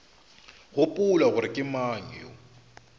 gopola gore ke mang yo